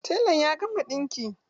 Telan ya gama ɗinki?